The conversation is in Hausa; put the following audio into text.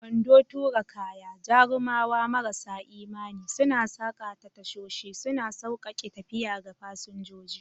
Kwando tura kaya, jarumawa marasa imani, suna saƙa ta tashoshi, suna sauƙaƙe tafiya ga fasinjoji.